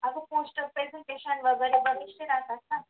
अस post presentation वगैरे बरचसे राहतात ना.